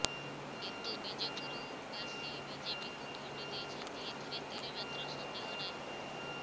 କିନ୍ତୁ ବିଜେପୁର ବାସୀ ବିଜେପିକୁ ଭୋଟ ଦେଇଛନ୍ତି ଏଥିରେ ତିଳେମାତ୍ର ସନ୍ଦେହ ନାହିଁ